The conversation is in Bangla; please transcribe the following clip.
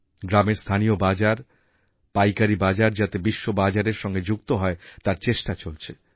গ্রামের স্থানীয় বাজার পাইকারী বাজার যাতে বিশ্ববাজারের সঙ্গে যুক্ত হয় তার চেষ্টা চলছে